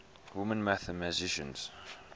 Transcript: women mathematicians